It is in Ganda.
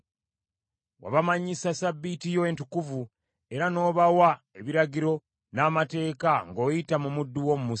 Wabamanyisa Ssabbiiti yo entukuvu, era n’obawa ebiragiro n’amateeka ng’oyita mu muddu wo Musa.